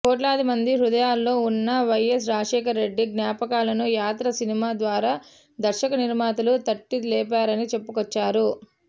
కోట్లాది మంది హృదయాల్లో ఉన్న వైఎస్ రాజశేఖర్ రెడ్డి జ్ఞాపకాలను యాత్ర సినిమా ద్వారా దర్శకనిర్మాతలు తట్టి లేపారని చెప్పుకొచ్చారు